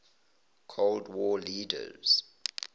cold war leaders